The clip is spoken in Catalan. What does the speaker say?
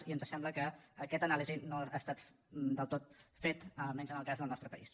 i ens sembla que aquesta anàlisi no ha estat del tot feta almenys en el cas del nostre país